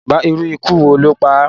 Irú ikú wo ló pá à?